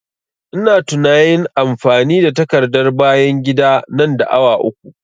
Ina tunain amfani da takardar bayan gida nan da awa uku